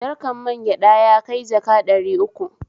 Jarkan magyaɗa yakai jaka ɗari uku